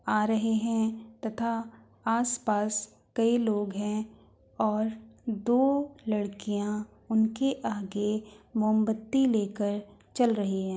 आ रहे हैं तथा आसपास कई लोग हैं और दो लड़कियां उनके आगे मोमबत्ती लेकर चल रही है।